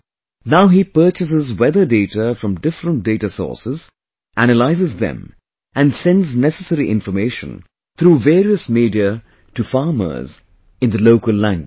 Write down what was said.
Now he purchases weather data from different data sources, analyses them and sends necessary information through various media to farmers in local language